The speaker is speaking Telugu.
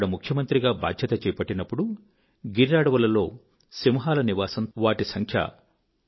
నేను అక్కడ ముఖ్యమంత్రిగా బాధ్యత చేపట్టినప్పుడుగిర్ అడవులలో సింహాల నివాసం తగ్గుతూ ఉండింది